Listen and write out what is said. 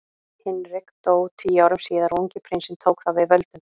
Hinrik dó tíu árum síðar og ungi prinsinn tók þá við völdum.